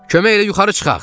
Kömək elə yuxarı çıxaq.